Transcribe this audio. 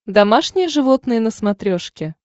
домашние животные на смотрешке